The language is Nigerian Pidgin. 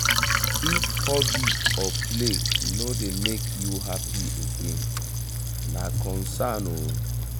if hobby or play no dey make you happy again na concern o.